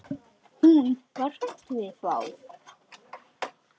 Hún var hrædd við þá.